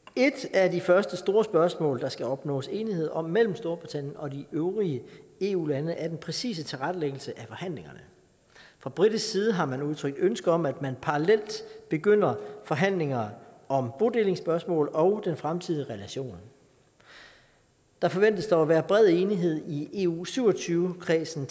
af de første store spørgsmål der skal opnås enighed om mellem storbritannien og de øvrige eu lande er den præcise tilrettelæggelse af forhandlingerne fra britisk side har man udtrykt ønske om at man parallelt begynder forhandlinger om bodelingsspørgsmål og den fremtidige relation der forventes dog at være bred enighed i eu syv og tyve kredsen